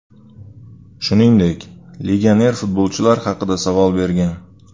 Shuningdek, legioner futbolchilar haqida savol bergan.